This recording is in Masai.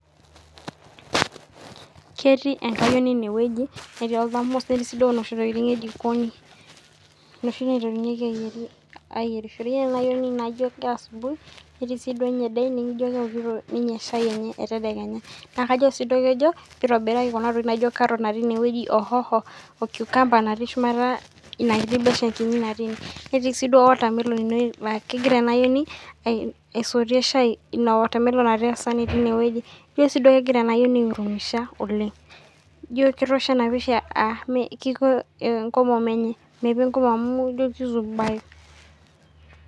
Ketii enkayioni eneweji neeti olthamos neeti noshi tokitin ee jikonj noshi naiterunyeki aiyierishore . Ijo kee asubuhi neeti sii ninye dinning ino keokito shai enye ee tedekenya naa kajo sii kejo pee itobiraki carrot naati ineweji oo cs hoho oo cucumber naati shumata ina kitii beshen naati ineweji. Neeti sii dio watermelon ineweji naa kegira ema ayioni asoitie. Shai ina watermelon naati inaweji. Ijo sii kegira ena ayioni aii hurumisha oleng' ijo ketosho ena pisha aa mepii enkomom enye amu ijo ki zuba e.